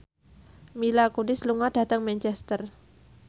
Mila Kunis lunga dhateng Manchester